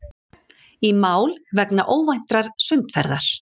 Í mál vegna óvæntrar sundferðar